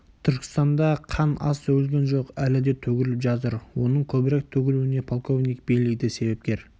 түркістанда қан аз төгілген жоқ әлі де төгіліп жатыр оның көбірек төгілуіне полковник бейли де себепкер